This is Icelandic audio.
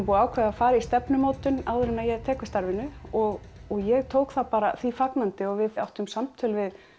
búið að ákveða að fara í stefnumótun áður en ég tek við starfinu og ég tók því bara fagnandi og við áttum samtöl við